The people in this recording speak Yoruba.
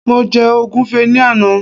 mo je ogunfe ni Ana